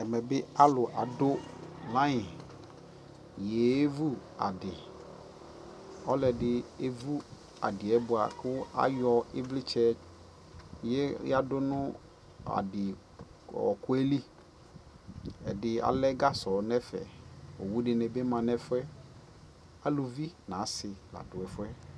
Ɛmɛ bι alʋ adʋ laiŋyeevʋ adι Ɔlʋɔdι evu adι yɛ bua kʋ ayɔ ivlitsɛ yadʋ nʋ adι ɔɔkʋ yɛ lι Ɛdι alɛ gasɔ nʋ ɛfɛ Owu di ni bi ma nʋ ɛfu yɛ, asi nʋ alʋvi la dʋ ɛfu yɛ